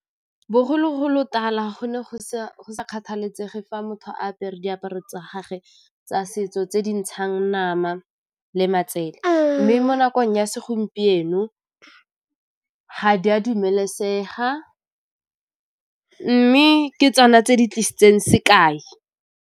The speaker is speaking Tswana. Bogologolotala go ne go sa kgathaletsege fa motho a apere diaparo tsa gage tsa setso tse di ntshang nama le matsela. Mme mo nakong ya segompieno ga di a dumelesega mme ke tsona tse di tlisitseng sekai.